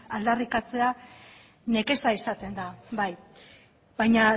aldarrikatzea nekea izaten da bai baina